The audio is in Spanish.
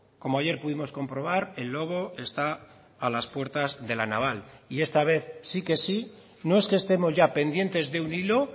como ayer pudimos comprobar el lobo está a las puertas de la naval y esta vez sí que sí no es que estemos ya pendientes de un hilo